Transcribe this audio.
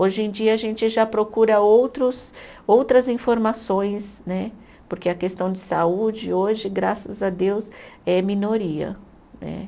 Hoje em dia a gente já procura outros outras informações né, porque a questão de saúde hoje, graças a Deus, é minoria né.